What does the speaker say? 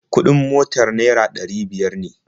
Kuɗin motar naira ɗari biyar ne